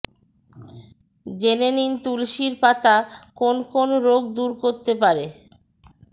জেনে নিন তুলসীর পাতা কোন কোন রোগ দূর করতে পারে